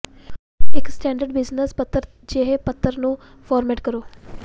ਇਕ standard business ਪੱਤਰ ਜਿਹੇ ਪੱਤਰ ਨੂੰ ਫਾਰਮੈਟ ਕਰੋ